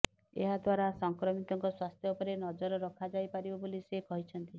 ଏହାଦ୍ୱାରା ସଂକ୍ରମିତଙ୍କ ସ୍ୱାସ୍ଥ୍ୟ ଉପରେ ନଜର ରଖାଯାଇପାରିବ ବୋଲି ସେ କହିଛନ୍ତି